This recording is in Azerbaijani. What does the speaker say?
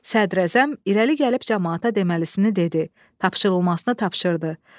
Sədrəzəm irəli gəlib camaata deməlisini dedi, tapşırılmasını tapşırdı.